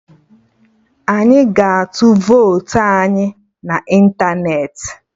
Anyị ga-atu votu anyị na ịntanetị